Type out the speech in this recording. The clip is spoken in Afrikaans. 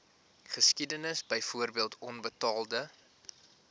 geskiedenis byvoorbeeld onbetaalde